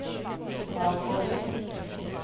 bakover